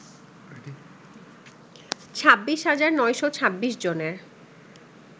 ২৬ হাজার ৯শ ২৬ জনের